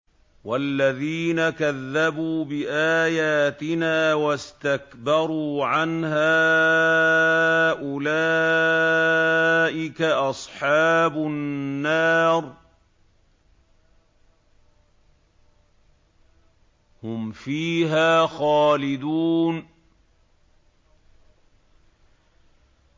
وَالَّذِينَ كَذَّبُوا بِآيَاتِنَا وَاسْتَكْبَرُوا عَنْهَا أُولَٰئِكَ أَصْحَابُ النَّارِ ۖ هُمْ فِيهَا خَالِدُونَ